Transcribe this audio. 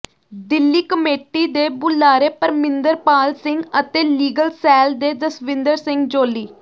Delhi committee ਦੇ ਬੁਲਾਰੇ ਪਰਮਿੰਦਰ ਪਾਲ ਸਿੰਘ ਅਤੇ ਲੀਗਲ ਸੈਲ ਦੇ ਜਸਵਿੰਦਰ ਸਿੰਘ ਜੌਲੀ